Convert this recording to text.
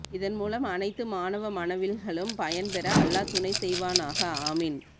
இதன் மூலம் அணைத்து மாணவ மனவில்களும் பயன் பர அல்லா துணை செய்வனாஹா அமீன்